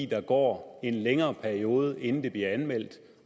der går en længere periode inden det bliver anmeldt